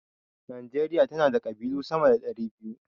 Najeriya tana da ƙabilu sama da 200.